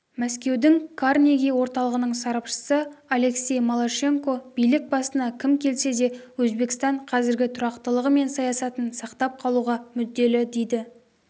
мәскеудің карнеги орталығының сарапшысы алексей малашенко билік басына кім келсе де өзбекстан қазіргі тұрақтылығы мен саясатын сақтап қалуға мүдделі дейді